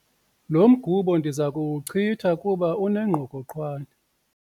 Lo mgubo ndiza kuwuchitha kuba unengqokoqwane.